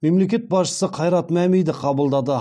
мемлекет басшысы қайрат мәмиді қабылдады